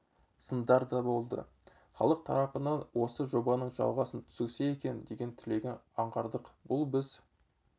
сындар да болды халық тарапынан осы жобаның жалғасын түсірсе екен деген тілегін аңғардық бұл біз